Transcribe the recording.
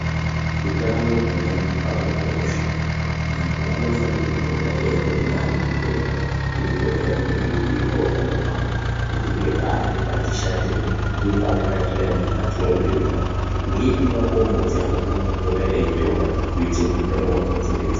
Utano hweantu hwakakosha. Antu anofanire kupota eiende kunaana zviremba eipota eimboringirwa utano hwawo kuti ngepari pati shatei ngepari patsveyama mukati meupenyu hwawo ngeepi makomboti eanofanire kutora kuti utano hwawo hudzokedzane.